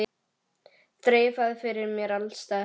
Þreifað fyrir mér alls staðar.